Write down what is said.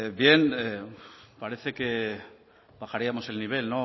parece que bajaríamos el nivel